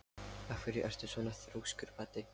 Af hverju ertu svona þrjóskur, Baddi?